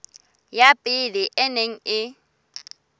ya pele e neng e